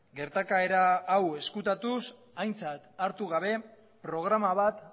gertakaera hau ezkutatuz aintzat hartu gabe programa bat